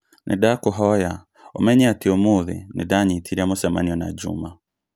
Nĩndakũhoya ũmenye atĩ ũmũthĩ nĩndanyitire mũcemanio na juma